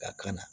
Ka kan